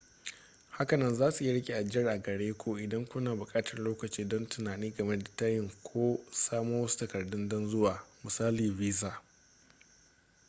hakanan zasu iya riƙe ajiyar a gare ku idan kuna buƙatar lokaci don tunani game da tayin ko samo wasu takardu don zuwa misali visa